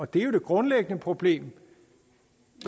det er jo det grundlæggende problem